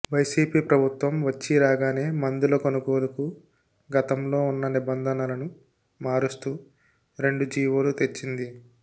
YCP ప్రభుత్వం వచ్చీ రాగానే మందుల కొనుగోలుకు గతంలో ఉన్న నిబంధనలను మారుస్తూ రెండు జీవోలు తెచ్చింది